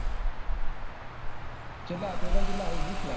ચેટલા આવી ટોટલ વીશ લાખ